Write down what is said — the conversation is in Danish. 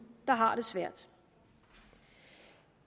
der har det svært